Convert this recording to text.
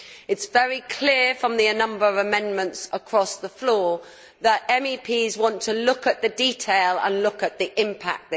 It is very clear from the number of amendments across the floor that MEPs want to look at the detail and at the impact.